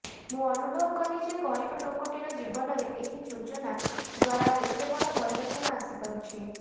ମୁଁ ଅନୁଭବ କଲି ଯେ ଗରିବ ଲୋକଟିର ଜୀବନରେ ଏହି ଯୋଜନା ଦ୍ୱାରା କେତେବଡ଼ ପରିବର୍ତ୍ତନ ଆସିପାରୁଛି